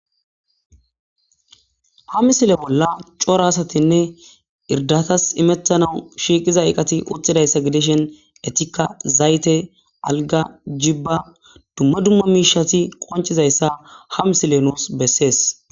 ha misile bolla cora asatinne irdatas imettanaw shiiqiza eqati uttidayssa gideshen etikka zayte alga jibba dumma dumma miishati qoncizayssa ha misile nuus bessees